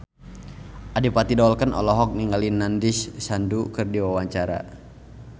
Adipati Dolken olohok ningali Nandish Sandhu keur diwawancara